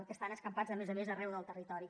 que estan escampats a més a més arreu del territori